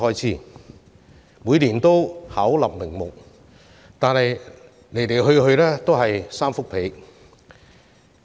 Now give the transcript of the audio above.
雖然他們每年巧立名目，但其實來來去去也是"三幅被"。